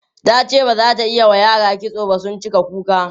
tace bazata iyawa yara kitso ba sun cika kuka.